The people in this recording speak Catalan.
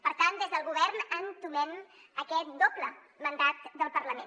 per tant des del govern entomem aquest doble mandat del par lament